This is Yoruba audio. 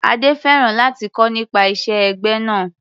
Adé fẹ́ràn láti kọ́ nípa ìṣe ẹgbẹ́ náà.